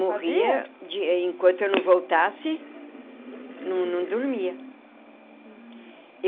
Morria enquanto eu não voltasse, não não dormia.